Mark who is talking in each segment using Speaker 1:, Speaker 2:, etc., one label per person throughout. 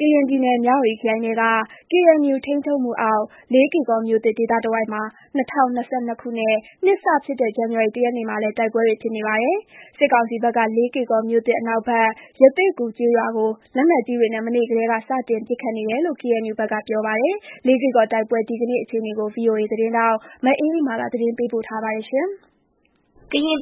Speaker 1: ကရင်ပြည်နယ်၊ မြဝတီခရိုင်ထဲက ကေအန်ယူ ထိန်းချုပ်မှုအောက် လေးကေ့ကော်မြို့သစ် ဒေသတဝိုက်မှာ ၂၀၂၂ ခုနှစ် နှစ်စဖြစ်တဲ့ ဇန်နဝါရီလ ၁ ရက်နေ့မှာလည်း တိုက်ပွဲတွေ ဖြစ်နေပါတယ်။ စစ်ကောင်စီဘက်က လေးကေ့ကော်မြို့သစ် အနောက်ဘက် ရသေ့ဂူကျေးရွာကို လက်နက်ကြီးတွေနဲ့ မနက်ကတည်းက စတင်ပစ်ခတ်နေတယ်လို့ ကေအန်ယူဘက်က ပြောပါတယ်။ လေးကေ့ကော်တိုက်ပွဲ ဒီကနေ့အခြေအနေ ဗွီအိုအေသတင်းထောက် မအေးအေးမာ သတင်းပေးပို့ထားပါတယ်။
Speaker 2: ကရင်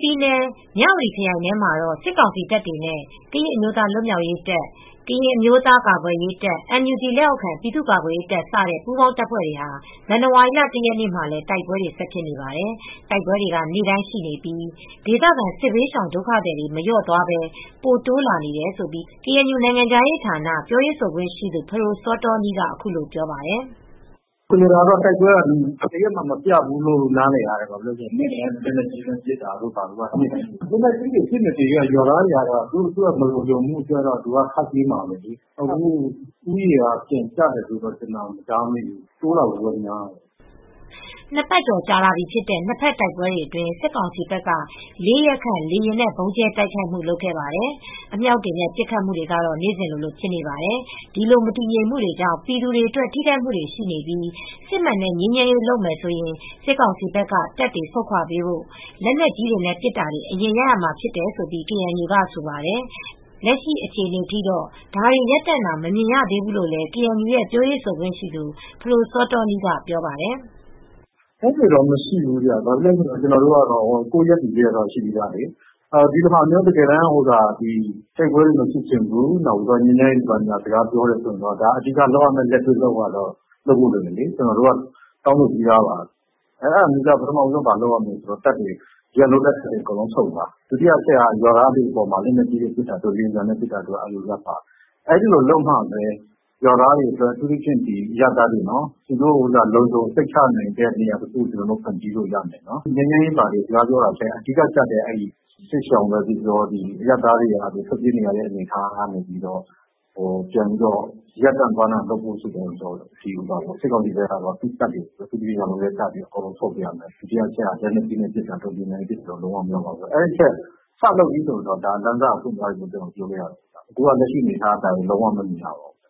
Speaker 2: ပြည်နယ်၊ မြဝတီခရိုင်ထဲမှာ စစ်ကောင်စီတပ်တွေနဲ့ ကရင်အမျိုးသားလွတ်မြောက်ရေးတပ်၊ ကရင်အမျိုးသားကာကွယ်ရေးတပ်၊ NUG လက်အောက်ခံ ပြည်သူ့ကာကွယ်ရေးတပ် စတဲ့ ပူးပေါင်းတပ်ဖွဲ့တွေဟာ ဇန်နဝါရီလ ၁ ရက်နေ့မှာလည်း တိုက်ပွဲတွေ ဆက်ဖြစ်နေပါတယ်။ တိုက်ပွဲတွေက နေ့တိုင်းရှိနေပြီး ဒေသခံ စစ်ဘေးရှောင် ဒုက္ခသည်တွေ မလျော့သွားဘဲ ပိုတိုးလာနေတယ်လို့ ကေအန်ယူ နိုင်ငံခြားရေးဌာန ပြောရေးဆိုခွင့်ရှိသူ ဖဒိုစောတောနီးက အခုလိုပြောပါတယ်။
Speaker 3: “ဆိုလိုတာကတော့ တိုက်ပွဲက တရက်မှမပြတ်ဘူးလို့ နားလည်ရတယ်။ နေ့တိုင်း လက်နက်ကြီးနဲ့ ပစ်နေတာ နေ့တိုင်းပဲ။ လက်နက်ကြီးနဲ့ ပစ်နေလို့ကတော့ ရွာသားကတော့ ပြေးနေမှာပဲ။ ဦးရေကတော့ လျော့သွားတာမရှိဘူး၊ ဒုက္ခသည်တွေ တိုးလာတာပဲဖြစ်မယ်။”
Speaker 2: နှစ်ပတ်ကျော်ကြာလာပြီဖြစ်တဲ့ နှစ်ဖက်တိုက်ပွဲတွေအတွင်း စစ်ကောင်စီဘက်က ၄ ရက်ခန့် လေယာဉ်နဲ့ ဗုံးကြဲတိုက်ခိုက်မှု လုပ်ခဲ့ပါတယ်။ အမြောက်တွေနဲ့ ပစ်ခတ်မှုတွေကတော့ နေ့စဉ်လို ဖြစ်နေပါတယ်။ ဒီလို မတည်ငြိမ်မှုတွေကြောင့် ပြည်သူတွေအတွက် ထိခိုက်မှုတွေရှိနေပြီး စစ်မှန်တဲ့ ငြိမ်းချမ်းရေး လုပ်မယ်ဆိုရင် စစ်ကောင်စီဘက်က တပ်တွေဆုတ်ပေးဖို့၊ လက်နက်ကြီးနဲ့ ပစ်တာတွေ အရင်ရပ်ရမှာ ဖြစ်တယ်လို့ ကေအန်ယူဘက်က ဆိုပါတယ်။ လက်ရှိအခြေအနေထိကတော့ ဒါတွေ ရပ်တန့်တာ မမြင်ရသေးဘူးလို့လည်း ကေအန်ယူ ပြောရေးဆိုခွင့်ရှိသူ ဖဒိုစောတောနီးက ပြောပါတယ်။
Speaker 3: “အဲဒီလိုတော့ မရှိဘူး။ ဘာဖြစ်လို့လဲဆိုတော့ ကျနော်တို့က ကိုယ့်ရပ်တည်ချက်က ရှိပြီးသားလေ။ ဒီလိုမျိုး တိုက်ပွဲတွေ မဖြစ်ချင်ဘူး၊ ငြိမ်းချမ်းရေးစကား ပြောချင်တယ်ဆိုရင်တော့ အဓိက လ့က်တွေ့လုပ်ဖို့ လိုပါတယ်။ ကျနော်တို့က တောင်းဆိုပြီးသားပါ။ ပထမဆုံး လုပ်ရမှာက ဒီကနေ စစ်ကောင်စီတပ်တွေ ဆုတ်သွားရမယ်။ လက်နက်ကြီးတွေ ပစ်တာတွေ၊ လေယာဉ်နဲ့ပစ်တာတွေ ရပ်ရမယ်။ အဲဒီလိုလုပ်မှ ရွာသားတွေအတွက် အရပ်သားတွေအတွက် လုံခြုံတဲ့နေရာတခု ဖန်တီးလို့ရမယ်။ ငြိမ်းချမ်းရေးစကား ပြောတာထက် စစ်ရှောင်လို့ပြောပြော အရပ်သားတွေ ပြေးနေရတဲ့ အနေအထားတွေ ရပ်တန့်ဖို့အတွက်က စစ်ကောင်စီဘက်က သူ့ရဲ့တပ်တွေ ဆုတ်ခွါရမယ်။ လက်နက်ကြီးနဲ့ ပစ်နေတာတွေ၊ လေယာဉ်နဲ့ပစ်တာတွေ လုံးဝမလုပ်ရဘူး။ အဲဒါတွေ စလုပ်ပြီဆိုရင်တော့ လမ်းစပွင့်သွားပြီးလို့ ပြောလို့ရမယ်။ အခုကတော့ လက်ရှိအနေအထားအရ ဒါမျိုးတွေ လုံးဝမမြင်ရပါဘူး။”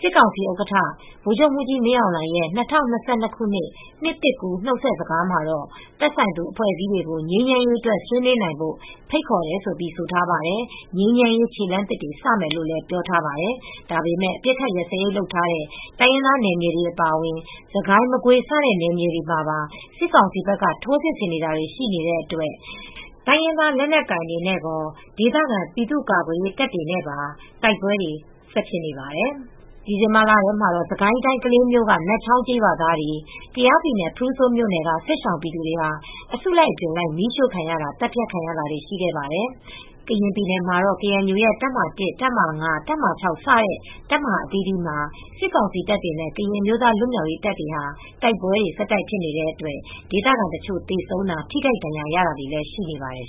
Speaker 2: စစ်ကောင်စီဥက္ကဋ္ဌ ဗိုလ်ချုပ်မှူးကြီးမင်းအောင်လှိုင်ရဲ့ ၂၀၂၂ ခုနှစ် နှစ်သစ်ကူး နှုတ်ဆက်စကားမှာတော့ သက်ဆိုင်သူ အဖွဲ့အစည်းတွေကို ငြိမ်းချမ်းရေးအတွက် ဆွေးနွေးနိုင်ဖို့ ဖိတ်ခေါ်တယ်လို့ ဆိုထားပါတယ်။ ငြိမ်းချမ်းရေး ခြေလှမ်းသစ်တွေ စမယ်လို့လည်း ပြောထားပါတယ်။ ဒါပေမယ့် အပစ်အခတ်ရပ်စဲရေး လုပ်ထားတဲ့ တိုင်းရင်သားနယ်မြေတွေ အပါအဝင် စစ်ကိုင်း၊ မကွေး စတဲ့နယ်မြေတွေမှာပါ စစ်ကောင်စီဘက်က ထိုးစစ်ဆင်နေတာတွေ ရှိနေတဲ့အတွက် တိုင်းရင်းသား လက်နက်ကိုင်တွေနဲ့ရော ဒေသခံ ပြည်သူ့ကာကွယ်ရေး တပ်တွေနဲ့ပါ တိုက်ပွဲတွေက ဆက်ဖြစ်နေပါတယ်။ ဒီဇင်ဘာလထဲမှာတော့ စစ်ကိုင်းတိုင်း ကလေးမြို့က နတ်ချောင်းကျေးရွာသားတွေ၊ ကယားပြည်နယ် ဖရူဆိုမြို့နယ်က စစ်ရှောင်ပြည်သူတွေဟာ အစုလိုက်အပြုံလိုက် မီးရှို့ခံရတာ၊ သတ်ဖြတ်ခံရတာတွေ ရှိခဲ့ပါတယ်။ ကရင်ပြည်နယ်မှာတော့ ကေအန်ယူရဲ့ တပ်မဟာ ၁၊ တပ်မဟာ ၅၊ တပ်မဟာ ၆ စတဲ့ တပ်မဟာအသီးသီးမှာ စစ်ကောင်စီတပ်တွေနဲ့ ကရင်အမျိုးသား လွတ်မြောက်ရေးတပ်တွေဟာ တိုက်ပွဲတွေ ဆက်တိုက်ဖြစ်နေတဲ့အတွက် ဒေသခံတချို့ သေဆုံးတာ၊ ထိခိုက်ဒဏ်ရာ ရတာတွေလည်း ရှိနေပါတယ်